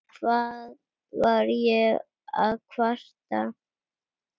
Hvað var ég að kvarta?